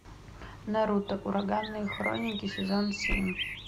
наруто ураганные хроники сезон семь